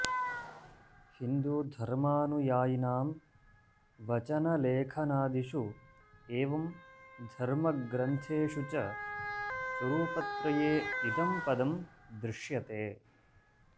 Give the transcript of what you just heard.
हिन्दूधर्मानुयायिनां वचनलेखनादिषु एवं धर्मग्रन्थेषु च स्वरुपत्रये इदं पदं दृश्यते